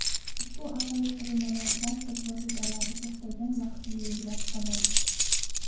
Ushbu aqlli qurilmalar transport vositalari to‘xtagan vaqtni belgilab oladi.